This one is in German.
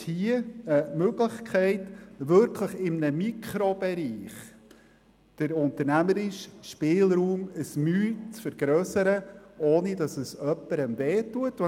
Wir haben jetzt die Möglichkeit, in einem Mikrobereich den unternehmerischen Spielraum ein klein wenig zu erweitern, ohne jemandem wehzutun.